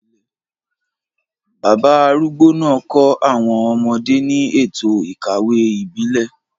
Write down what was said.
Bàbá arúgbó náà kọ́ àwọn ọmọdé ní ètò ìkawó ìbílẹ̀,